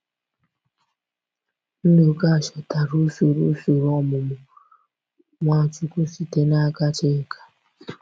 Nduka chọtara usoro usoro ọmụmụ Nwachukwu site n’aka Chika.